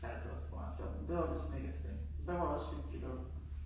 Ja det var sgu meget sjovt men det var oppe ved Snekkersten. Der var også hyggeligt oppe